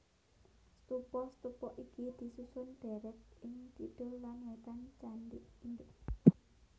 Stupa stupa iki disusun ndèrèt ing kidul lan wétan candi induk